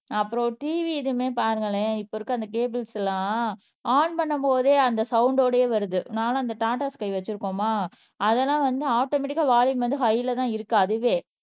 அப்புறம் TV இதுவுமே பாருங்களேன் இப்ப இருக்க அந்த கேபிள்ஸ் எல்லாம் ஆன் பண்ணும் போதே அந்த சவுண்ட் ஓடயே வருது நானும் அந்த டாடா ஸ்கை வச்சிருக்கோமா அதெல்லாம் வந்து ஆட்டோமேட்டிகா வால்யூம் வந்து ஹைலதான் இருக்கு அதுவே